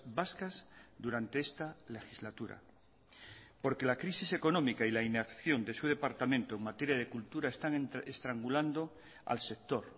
vascas durante esta legislatura porque la crisis económica y la inacción de su departamento en materia de cultura están estrangulando al sector